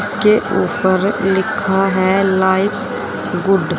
इसके ऊपर लिखा है लाइफ्स गुड् --